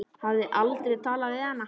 Hafði aldrei talað við hann.